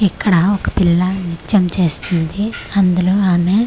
ఇక్కడ ఒక పిల్ల నృత్యం చేస్తుంది అందులో ఆమె--